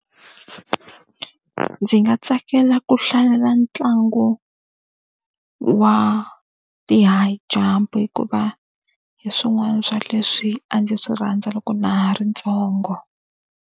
Ndzi nga tsakela ku hlalela ntlangu wa ti-high jump hikuva hi swin'wana swa leswi a ndzi swi rhandza loko na ri ntsongo.